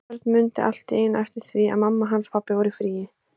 Örn mundi allt í einu eftir því að mamma hans og pabbi voru í fríi.